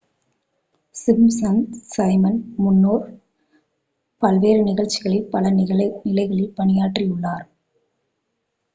Simpson's Simon முன்னர் பல்வேறு நிகழ்ச்சிகளில் பல நிலைகளில் பணியாற்றியுள்ளார்